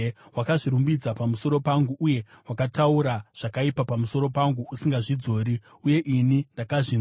Wakazvirumbidza pamusoro pangu uye wakataura zvakaipa pamusoro pangu usingazvidzori, uye ini ndakazvinzwa.